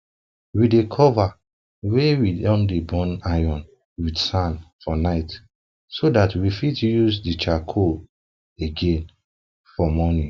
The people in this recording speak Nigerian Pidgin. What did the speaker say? we dey cover wey we de burn iron with sand for night so dat we fit use d charcoal again for morning